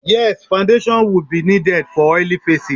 Yes, we will Foundation be needed for oily faces